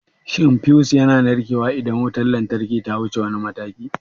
Shin fiyus yana narkewa idan wutar lantarki ta wuce wani mataki?